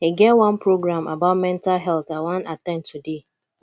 e get one program about mental health i wan at ten d today